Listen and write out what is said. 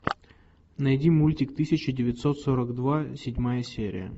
найди мультик тысяча девятьсот сорок два седьмая серия